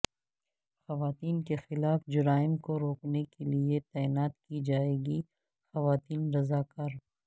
خواتین کے خلاف جرائم کو روکنے کیلئے تعینات کی جائیں گی خواتین رضاکار